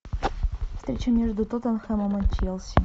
встреча между тоттенхэмом и челси